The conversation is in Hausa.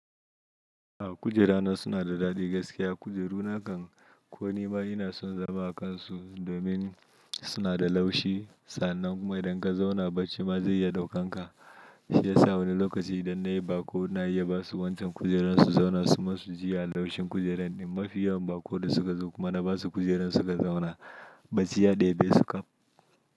A'a kujera na suna da daɗi gaskiya. Kujeru nakan ko nima ina son zama a kansu domin suna da laushi. Sannan kuma idan ka zauna barci ma zai iya ɗaukan ka. Shi yasa wani lokaci idan nayi baƙo na iya basu wancan kujeran su zauna su masu jiya laushin kujeran. In mafi yawan baƙo da suka zo kuma na basu kujeran suka zauna, baciyya ɗebesu kam.